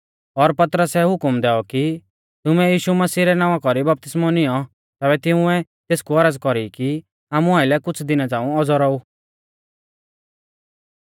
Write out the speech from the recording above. और पतरसै हुकम दैऔ कि तुमै यीशु मसीह रै नावां कौरी बपतिस्मौ निऔं तैबै तिंउऐ तेसकु औरज़ कौरी कि आमु आइलै कुछ़ दिना झ़ांऊ औज़ौ रौऊ